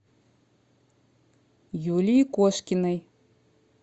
юлии кошкиной